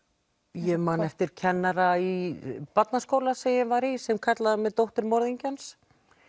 ég man eftir kennara í barnaskóla sem ég var í sem kallaðir mig dóttur morðingjans